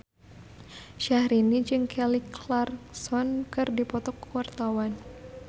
Syahrini jeung Kelly Clarkson keur dipoto ku wartawan